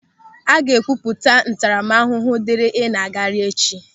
A ga-ekwupụta ntaramahụhụ diri ị na-agagharị echi.